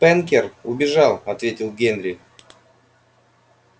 спэнкер убежал ответил генри